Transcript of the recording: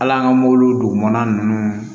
Hal'an ka mobili dugumana ninnu